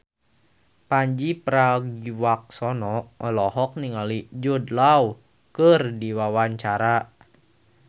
Pandji Pragiwaksono olohok ningali Jude Law keur diwawancara